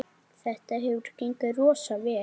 Þetta hefur gengið rosa vel.